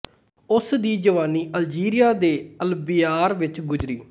ਉਸ ਦੀ ਜਵਾਨੀ ਅਲਜੀਰੀਆ ਦੇ ਅਲਬਿਆਰ ਵਿੱਚ ਗੁਜ਼ਰੀ